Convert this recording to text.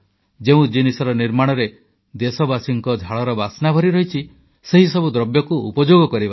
ଯେଉଁ ଜିନିଷର ନିର୍ମାଣରେ ଦେଶବାସୀଙ୍କର ଝାଳର ବାସ୍ନା ଭରିରହିଛି ସେହିସବୁ ଦ୍ରବ୍ୟକୁ ଉପଯୋଗ କରିବା